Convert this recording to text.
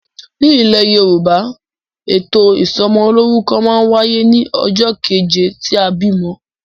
Nilè Yorùbá, ètò ìsomolórúkọ ma n wáyé ní ojó keje tí a bìmo